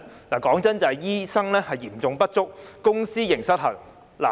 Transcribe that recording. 問題在於醫生嚴重不足及公私營失衡。